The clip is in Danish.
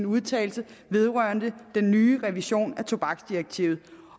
udtalelse vedrørende den nye revision af tobaksdirektivet